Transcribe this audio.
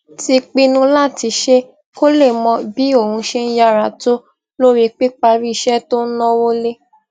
ti pinnu láti ṣe kó lè mọ̀ bí òun ṣe yára tó lórí píparí iṣẹ tó n náwó lé